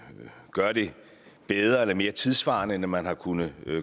gør det bedre eller mere tidssvarende end man har kunnet